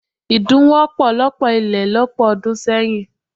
Idun wọ́pọ̀ lọ́pọ̀ ilé lọ́pọ̀ ọdún sẹ́yìn.